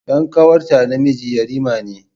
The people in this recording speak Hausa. Dan ƙanwarta namiji yarima ne.